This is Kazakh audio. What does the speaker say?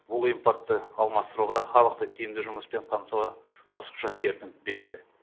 бұл импортты алмастыруға халықты тиімді жұмыспен қамтуға қосымша серпін береді